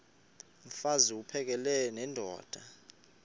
mfaz uphakele nendoda